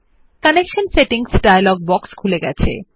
connection settings dialog box খুলে গেছে